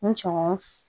N cɔgɔn